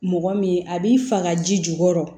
Mɔgɔ min a b'i faga ji jukɔrɔ